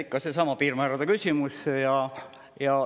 Ikka seesama piirmäärade küsimus.